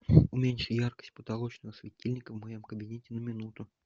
уменьши яркость потолочного светильника в моем кабинете на минуту